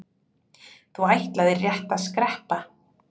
Þú ætlaðir rétt að skreppa.